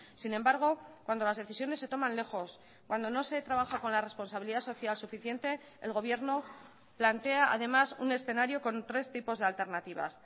sin embargo cuando las decisiones se toman lejos cuando no se trabaja con la responsabilidad social suficiente el gobierno plantea además un escenario con tres tipos de alternativas